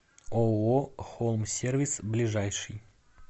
ооо холмсервис ближайший